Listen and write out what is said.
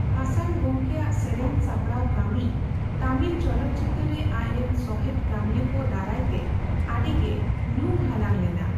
ᱦᱟᱥᱟᱱ ᱜᱚᱢᱠᱮᱭᱟᱜ ᱥᱮᱨᱮᱧ ᱥᱟᱯᱲᱟᱣ ᱠᱟᱹᱢᱤ ᱛᱟᱢᱤᱞ ᱪᱚᱞᱚᱛᱼᱪᱤᱛᱟᱹᱨ ᱨᱮ ᱟᱡ ᱨᱮᱱ ᱥᱚᱦᱮᱫ ᱠᱟᱹᱢᱤᱭᱟᱹ ᱠᱚ ᱫᱟᱨᱟᱭ ᱛᱮ ᱟᱹᱰᱤ ᱜᱮ ᱧᱩᱢᱦᱟᱞᱟᱝ ᱞᱮᱱᱟ ᱾